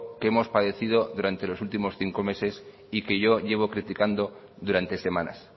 que hemos padecido durante los últimos cinco meses y que yo llevo criticando durante semanas